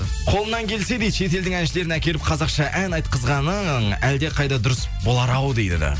қолыңнан келсе дейді шетелдің әншілерін әкеліп қазақша ән айтқызғаның әлде қайда дұрыс болар ау дейді